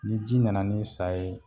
Ni ji nana ni sa ye